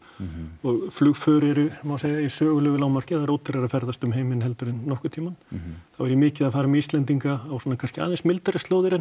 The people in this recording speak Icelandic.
og flugför eru má segja í sögulegu lágmarki það er ódýrara að ferðast um heiminn heldur en nokkurn tímann þá er ég mikið að fara með Íslendinga á svona kannski aðeins mildari slóðir en